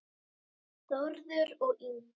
Þórður og Ingunn.